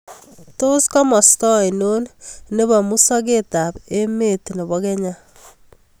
Tos' komosta ainon ne po musogetap emet ne po Kenya